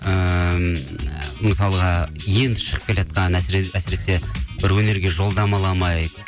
ыыы мысалға енді шығып келеатқан әсіресе бір өнерге жолдама ала алмай